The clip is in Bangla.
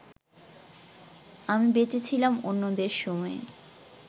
আমি বেঁচে ছিলাম অন্যদের সময়ে